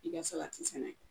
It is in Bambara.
I ka salati sɛnɛ